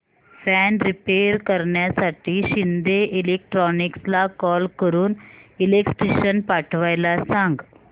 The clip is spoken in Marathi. फॅन रिपेयर करण्यासाठी शिंदे इलेक्ट्रॉनिक्सला कॉल करून इलेक्ट्रिशियन पाठवायला सांग